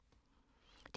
DR2